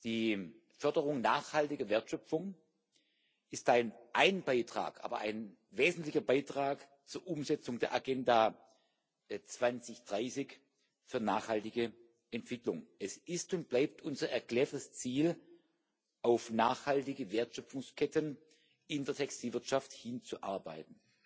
Die Förderung nachhaltiger Wertschöpfung ist ein Beitrag, aber ein wesentlicher Beitrag zur Umsetzung der Agenda 2030 für nachhaltige Entwicklung. Es ist und bleibt unser erklärtes Ziel, auf nachhaltige Wertschöpfungsketten in der Textilwirtschaft hinzuarbeiten.